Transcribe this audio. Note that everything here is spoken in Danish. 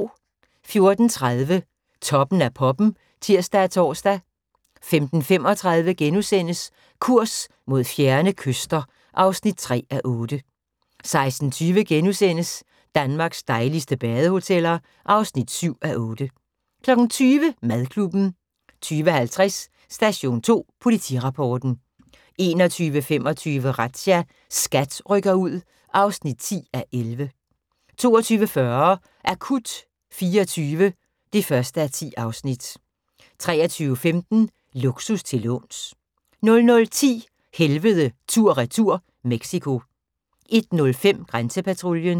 14:30: Toppen af poppen (tir og tor) 15:35: Kurs mod fjerne kyster (3:8)* 16:20: Danmarks dejligste badehoteller (7:8)* 20:00: Madklubben 20:50: Station 2 Politirapporten 21:25: Razzia – SKAT rykker ud (10:11) 22:40: Akut 24 (1:10) 23:15: Luksus til låns 00:10: Helvede tur/retur - Mexico 01:05: Grænsepatruljen